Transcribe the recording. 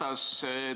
Härra Ratas!